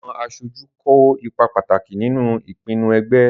Àwọn aṣojú kó ipa pàtàkì nínú ìpinnu ẹgbẹ́.